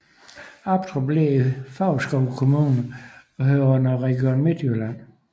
Aptrup ligger i Favrskov Kommune og hører under Region Midtjylland